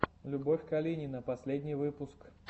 любовь калинина последний выпуск